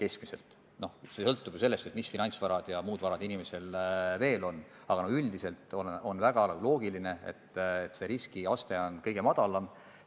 Eks palju sõltub ju sellest, mis finantsvarad ja muud varad inimesel veel on, aga üldiselt on väga loogiline, et valitud riskiaste on kõige madalam.